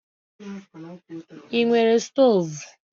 I nwere stọv?